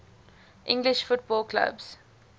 english football clubs